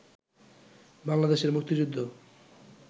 বাংলাদেশের মুক্তিযুদ্ধ